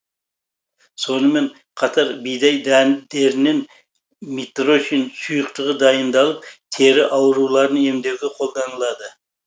сонымен қатар бидай дәндерінен митрошин сұйықтығы дайындалып тері ауруларын емдеуге қолданылады